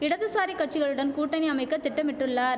இடதுசாரி கட்சிகளுடன் கூட்டணி அமைக்க திட்டமிட்டுள்ளார்